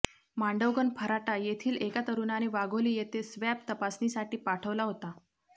मांडवगण फराटा येथील एका तरुणाने वाघोली येथे स्वॅब तपासणीसाठी पाठवला होता